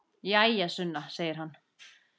Jæja, Sunna, segir hann.